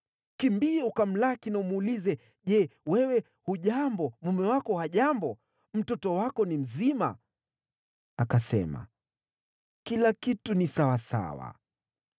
Kimbia ukamlaki, umuulize, ‘Je, wewe hujambo? Mume wako hajambo? Mtoto wako ni mzima?’ ” Akasema, “Kila kitu ni sawasawa.”